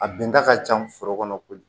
A bɛnda ka ca foro kɔnɔ kojugu